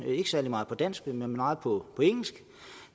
er ikke særlig meget på dansk men meget på engelsk